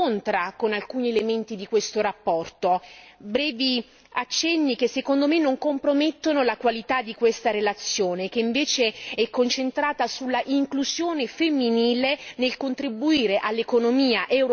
Brevi accenni che secondo me non compromettono la qualità di questa relazione, che invece è concentrata sulla inclusione femminile nel contribuire all'economia europea un ben maggiore dinamicità.